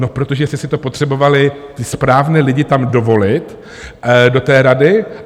No protože jste si to potřebovali, ty správné lidi, tam dovolit, do té rady.